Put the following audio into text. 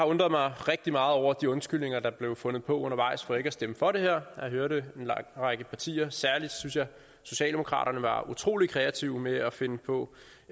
undret mig rigtig meget over de undskyldninger der er blevet fundet på undervejs for ikke at stemme for det her jeg har hørt en lang række partier særlig synes jeg socialdemokraterne være utrolig kreative med at finde på